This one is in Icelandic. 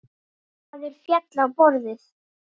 Maður féll á borðið.